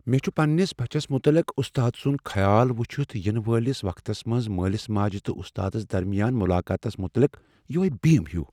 مےٚ چھ پننس بچس متعلق استاد سنٛد خیال وچھتھ ینہٕ وٲلس مٲلس ماجہ تہٕ استادس درمیان ملاقاتس متعلق یۄہے بیم ہیُو۔